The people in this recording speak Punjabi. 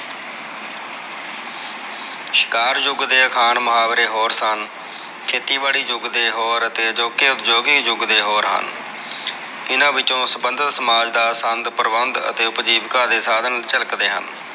ਸ਼ਿਕਾਰ ਯੁਗ ਦੇ ਅਖਾਣ ਮੁਹਾਵਰੇ ਹੋਰ ਸਨ ਖੇਤੀਬਾੜੀ ਯੁਗ ਦੇ ਹੋਰ ਅਤੇ ਉਦਯੋਗਿਕ ਯੁਗ ਦੇ ਹੋਰ ਹਨ ਇਹਨਾ ਵਿਚੋ ਸ੍ਬਦਤ ਸਮਾਜ ਦਾ ਸੰਦ ਪ੍ਰਬੰਦ ਅਤੇ ਉਪਜੀਵੇਕਾ ਦੇ ਸਾਧਨ ਝਲਕ ਦੇ ਹਨ